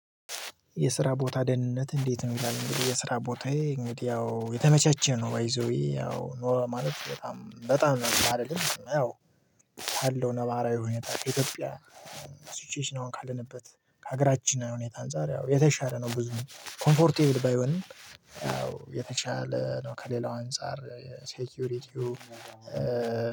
የስራ ቦታ ደህንነት እንዴት ነው? ይላል እንግዲህ የስራ ቦታዬ እንግዲህ ያው የተመቸቸ ነው ባይዘዌይ ያው ኖሮ ማለት በጣም በጣም ባልልም ያው ካለው ነባራዊ ሁኔታ ከኢትዮጵያ። ሲቹዌሽን አሁን ካለንበት ከሀገራችን እና ሁኔታ አንፃር ያው የተሻለ ነው ብዙም ኮምፎርት ባይሆንም ያው የተሽለ ነው ከሌላው አንፃር ሴኪዩሪቲው።